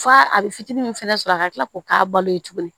F'a a bɛ fitinin min fɛnɛ sɔrɔ a ka tila k'o k'a balo ye tuguni